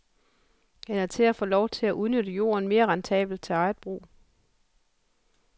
Eller til at få lov til at udnytte jorden mere rentabelt til eget brug.